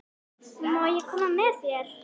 Má ég koma með þér?